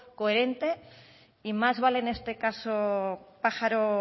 coherente y más vale en este caso pájaro